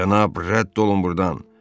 Cənab, rədd olun burdan.